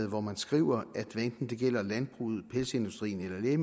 hvor man skriver hvad enten det gælder landbruget pelsindustrien eller